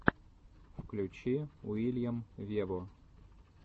включи уильям вево